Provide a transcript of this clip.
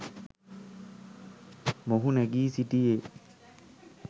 මොහු නැගී සිටියේ.